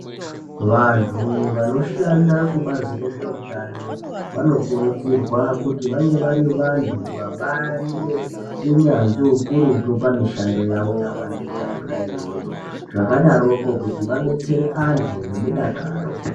Vantu vanoshanda kubazi rezveutano vanokurudzirwa kuti vange vari vantu vabaari neunyanzvi hukurutu pamishando yavo yavanoita yona iyoyo. Zvakadaroko kuti vedetsere vantu ngemudakaro.